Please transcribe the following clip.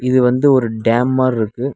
இது வந்து ஒரு டேம் மார்ருக்கு.